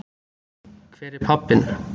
Hver er pabbinn?